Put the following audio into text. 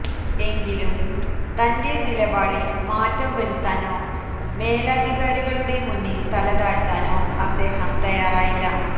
എങ്കിലും തന്റെ നിലപാടിൽ മാറ്റംവരുത്താനോ മേലധികാരികളുടെ മുന്നിൽ തലതാഴ്ത്താനോ അദ്ദേഹം തയ്യാറായില്ല